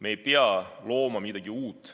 Me ei pea looma midagi uut.